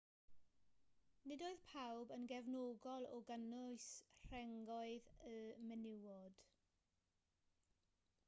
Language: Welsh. nid oedd pawb yn gefnogol o gynnwys rhengoedd y menywod